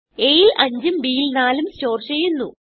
aൽ 5ഉം b ൽ 4ഉം സ്റ്റോർ ചെയ്യുന്നു